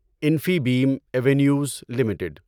Infibeam Avenues limited